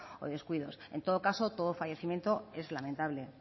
o descuidos en todo caso todo fallecimiento es lamentable